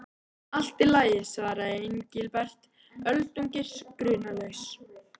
Allt í lagi svaraði Engilbert, öldungis grunlaus.